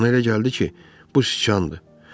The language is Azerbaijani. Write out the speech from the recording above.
Ona elə gəldi ki, bu siçandır.